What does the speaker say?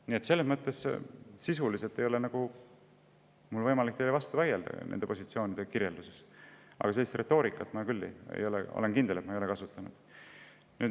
Nii et sisuliselt ei ole mul nagu võimalik teile vastu vaielda nende positsioonide kirjelduses, aga ma olen kindel, et sellist retoorikat ma ei ole kasutanud.